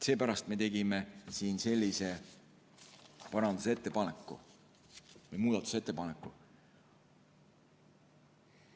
Seepärast me tegime siin sellise muudatusettepaneku.